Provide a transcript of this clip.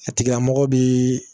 A tigila mɔgɔ bi